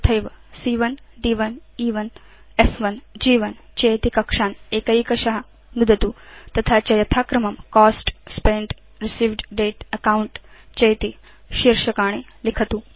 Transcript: तथैव सी॰॰1 द्1 ए1 फ्1 ग्1 चेति कक्षान् एकैकश नुदतु तथा च यथाक्रमं कोस्ट स्पेन्ट् रिसीव्ड दते अकाउंट चेति शीर्षकाणि लिखतु